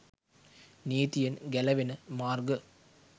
නීතියෙන් ගැලවෙන මාර්ග